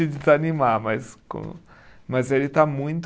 Desanimar, mas com, mas ele está muito